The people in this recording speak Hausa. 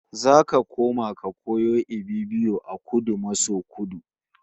Zaka koma ka koyo Ibibio a Kudu maso Kudu